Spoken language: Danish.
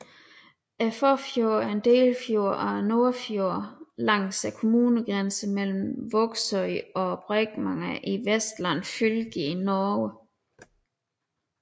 Fåfjorden er en delfjord af Nordfjord langs kommunegrænsen mellem Vågsøy og Bremanger i Vestland fylke i Norge